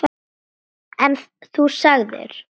En þú sagðir.